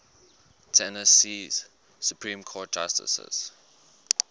tennessee supreme court justices